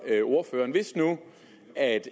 ordføreren hvis nu